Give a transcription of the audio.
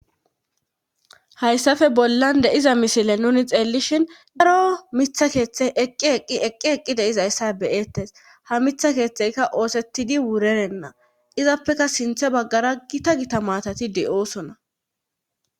Hayssafe bollan deiza misile nuni xeellishin daro mitha keeththe eqqi eqqi eqi eqqi deizayssa beyeettes ha mitha keeththeyka oosetidi wurerenna izappeka sinthe baggara gita gita maatati de'oosona.